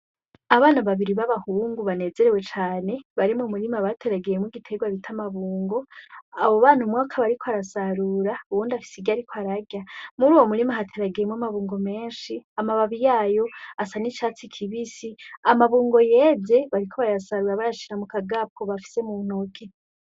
Abana babiri babahungu banezerewe cane, bari mumurima bateragiyemwo igitegwa bita amabungo, abo bana umwe akaba ariko arasarura uwundi afise iryo ariko ararya. Muruwo murima hateragiyemwo amabungo menshi, amababi yabo asa nicatsi kibisi, amabungo yeze bariko barayasarura bayashira mukagapu bafise muntoki.